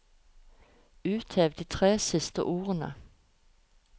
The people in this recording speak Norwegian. Uthev de tre siste ordene